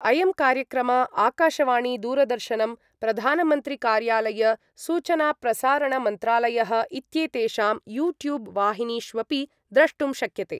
अयं कार्यक्रम आकाशवाणी दूरदर्शनम्, प्रधानमन्त्रिकार्यालय, सूचनाप्रसारणमन्त्रालयः इत्येतेषां यूट्यूब् वाहिनीष्वपि द्रष्टुं शक्यते